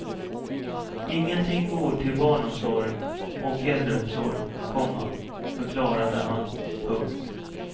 Ingenting går till barnomsorg och äldreomsorg, komma förklarade han. punkt